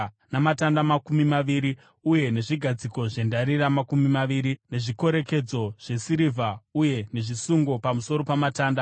namatanda makumi maviri uye nezvigadziko zvendarira makumi maviri, nezvikorekedzo zvesirivha uye nezvisungo pamusoro pamatanda.